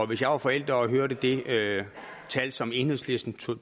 hvis jeg var forælder og hørte det tal som enhedslisten